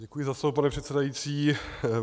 Děkuji za slovo, pane předsedající.